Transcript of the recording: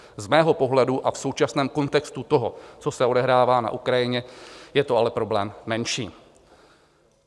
Z mého pohledu a v současném kontextu toho, co se odehrává na Ukrajině, je to ale problém menší.